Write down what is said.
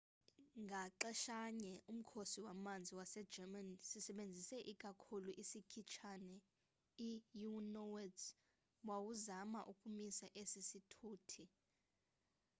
ngaxeshanye umkhosi wamanzi wase german, sisebenzisa ikakhulu isikhitshane i u-noats wawuzama ukumisa esi sithuthi